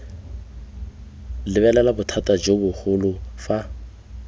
lebelela bothata jo bogolo fa